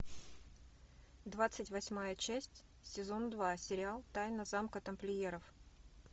двадцать восьмая часть сезон два сериал тайна замка тамплиеров